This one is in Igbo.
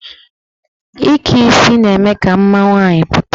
Ike isi na-eme ka mma nwaanyị pụta.